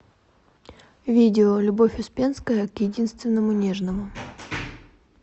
видео любовь успенская к единственному нежному